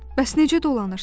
Bəs necə dolanırsan?